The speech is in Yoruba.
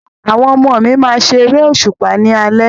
Àwọn ọmọ mi máa ṣe eré òṣùpá ni alẹ́